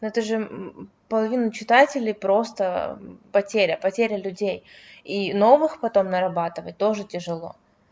это же половина читателей просто потеря потеря людей и новых потом нарабатывать тоже тяжело